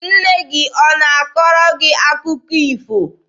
Nne gị ọ na-akọrọ gị akụkọ ifo?